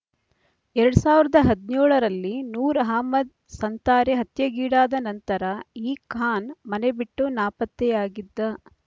ಎರಡ್ ಸಾವಿರದ ಹದಿನೇಳರಲ್ಲಿ ನೂರ್ ಅಹಮದ್ ಸಂತಾರೆ ಹತ್ಯೆಗೀಡಾದ ನಂತರ ಈ ಖಾನ್ ಮನೆ ಬಿಟ್ಟು ನಾಪತ್ತೆಯಾಗಿದ್ದ